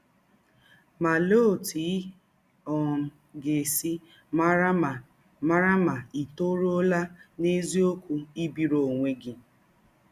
Ma, ọlee ọtụ ị um ga - esi mara ma mara ma ì tọrụọla n’eziọkwụ ibiri ọnwe gị?